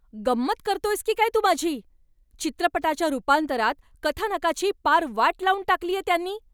गंमत करतोयस की काय तू माझी? चित्रपटाच्या रूपांतरात कथानकाची पार वाट लावून टाकलीये त्यांनी.